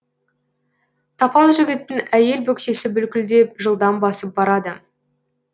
тапал жігіттің әйел бөксесі бүлкілдеп жылдам басып барады